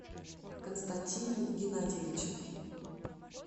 константине геннадьевиче